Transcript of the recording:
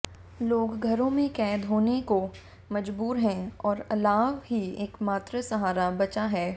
लोग घरों में कैद होने को मजबूर हैं और अलाव ही एकमात्र सहारा बचा है